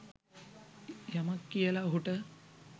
යමක් කියලා ඔහුට.